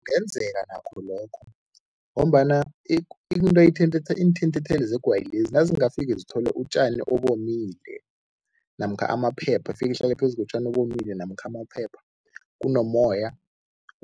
Kungenzeka nakho lokho ngombana into iinthintitheli zegwayi lezi nazingafike zithole utjani obomile namkha amaphepha, ifike ihlale phezu kotjani obomile namkha amaphepha, kunomoya,